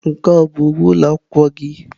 Nke a ọ bụ uwe ụlọ akwụkwọ gị?